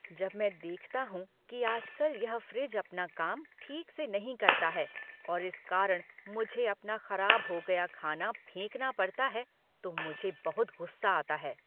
जब मैं देखता हूँ कि आज कल यह फ्रिज अपना काम ठीक से नहीं करता है और इस कारण मुझे अपना खराब हो गया खाना फेंकना पड़ता है तो मुझे बहुत गुस्सा आता है।